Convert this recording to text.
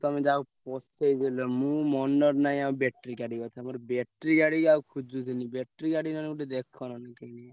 ତମେ ଯାହା ହଉ ପଶେଇ ଦେଲ ମୁଁ ମନରେ ନାହିଁ ଆଉ battery ଗାଡି କଥା ମୋର battery ଗାଡି ଆଉ ଖୋଜୁଥିଲି battery ଗାଡି ନହେଲେ ଗୋଟେ ଦେଖ ନହେଲେ ।